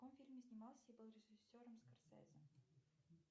в каком фильме снимался и был режиссером корсезе